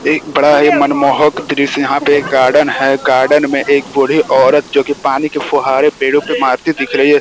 एक बड़ा ही मनमोहक दृश्य। यहां पे गार्डन है। गार्डन में एक बूढी औरत जो कि पानी के फुहारें पेड़ो पे मारती दिख रही है।